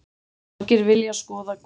Margir vilja skoða Goðafoss